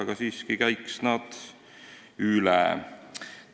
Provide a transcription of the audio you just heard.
Käiks need siiski üle.